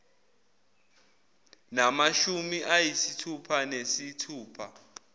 namashumi ayisithupha nesithupha